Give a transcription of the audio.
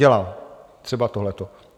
Dělá, třeba tohleto.